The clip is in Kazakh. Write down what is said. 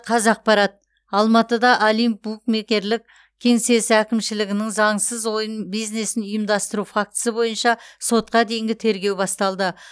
қазақпарат алматыда олимп букмекерлік кеңсесі әкімшілігінің заңсыз ойын бизнесін ұйымдастыру фактісі бойынша сотқа дейінгі тергеу басталды